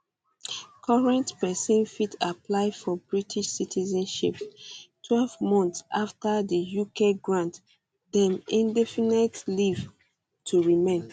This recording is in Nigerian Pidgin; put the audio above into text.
currently pesin fit apply for british citizenship um twelve months um afta di uk grant dem indefinite leave to remain